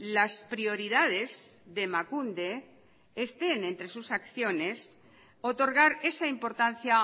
las prioridades de emakunde estén entre sus acciones otorgar esa importancia